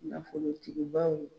Nafolotigibaw